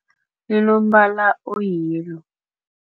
Inombala o-yellow.